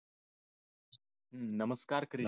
नमस्कार